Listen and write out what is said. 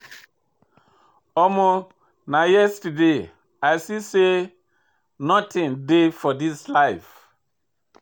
Omo na yesterday I see sey notin dey for dis life.